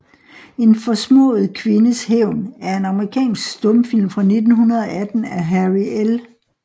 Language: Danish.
En forsmået kvindes hævn er en amerikansk stumfilm fra 1918 af Harry L